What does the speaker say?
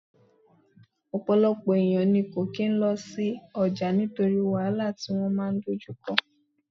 Ọ̀pọ̀lọpọ̀ èèyàn ní kò kín lọ sí ọjà nítorí wàhálà tí wọ́n máa dojú kọ